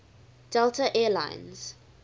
delta air lines